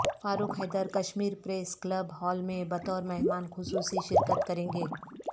فاروق Haider Kashmir press club hall میں بطور مہمان خصوصی شرکت کرینگے